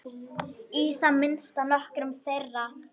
Í það minnsta nokkrum þeirra.